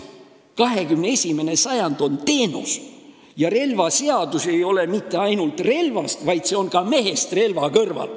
21. sajand on teenuste sajand ja relvaseadus ei pea rääkima mitte ainult relvast, vaid ka mehest relva kõrval.